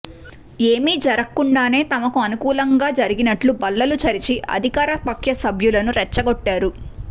ఏమీ జరక్కుండానే తమకు అనుకూలంగా జరిగినట్లు బల్లలు చరిచి అధికార పక్ష సభ్యులను రెచ్చగొట్టారు